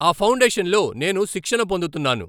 ఆ ఫౌండేషన్ లో నేను శిక్షణ పొందుతున్నాను.